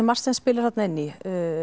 margt sem spilar þarna inn í